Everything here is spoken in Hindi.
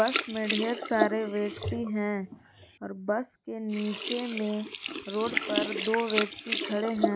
बस में ढेर सारे व्यक्ति हैं और बस के नीचे में रोड पर दो व्यक्ति खड़े हैं।